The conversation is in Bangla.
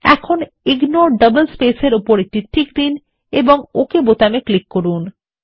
এখন ইগনোর ডাবল স্পেসেস এর উপর একটি টিক দিন এবং ওক বাটনে ক্লিক করুন